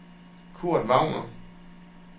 Kurt Wagner